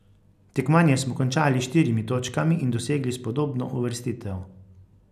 Tekmovanje smo končali s štirimi točkami in dosegli spodobno uvrstitev.